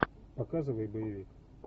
показывай боевик